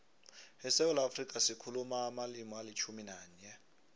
esewula afrika sikhuluma amalimi alitjhumi nanye